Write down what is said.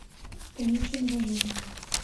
танюше новожиловой